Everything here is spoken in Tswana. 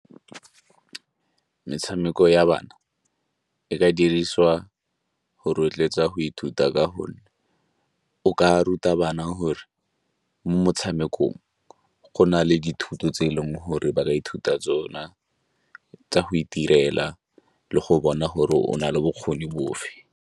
Metshameko ya bana e ka dirisiwa go rotloetsa go ithuta ka gonne o ka ruta bana gore mo motshamekong go na le dithuto tse e leng gore ba ka ithuta tsona, tsa go itirela le go bona gore o na le bokgoni bofe.